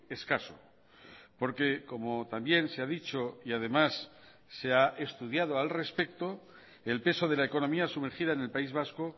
escaso porque como también se ha dicho y además se ha estudiado al respecto el peso de la economía sumergida en el país vasco